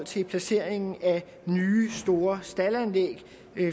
til placeringen af nye store staldanlæg